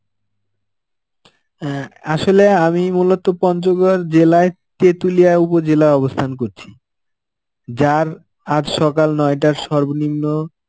অ্যাঁ আসলে আমি মূলত পঞ্চগড় জেলায় তেঁতুলিয়া উপজেলায় অবস্থান করছি. যার আজ সকাল নয়টার সর্বনিম্ন